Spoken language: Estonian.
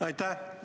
Aitäh!